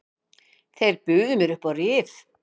Þeir buðu mér upp á rif.